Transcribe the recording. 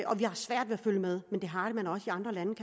vi har svært ved at følge med men det har